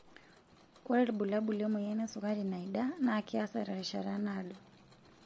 Ore ilbulabul lemoyian esukari naida naa keasa terishata naado.